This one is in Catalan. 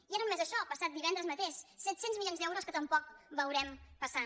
i ja no només això el passat divendres ma·teix set cents milions d’euros que tampoc veurem passar